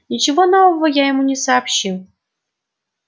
ничего нового я ему не сообщил